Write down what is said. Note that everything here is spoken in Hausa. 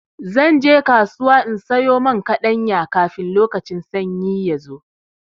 Zan je kasuwa in sayo man kaɗanya, kafin lokacin sanyi ya zo.